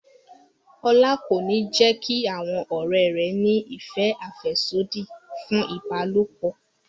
Ọlá kò ní jẹ́ kí àwọn ọ̀rẹ́ rẹ̀ ní ìfẹ́ àfẹ́sódì fún ìbálòpọ̀